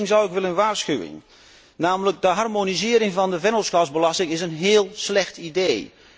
Voor één ding zou ik echter willen waarschuwen, namelijk de harmonisering van de vennootschapsbelasting. Dat is een heel slecht idee.